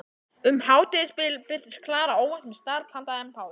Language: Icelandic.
Um hádegisbil birtist Klara óvænt með snarl handa þeim báðum.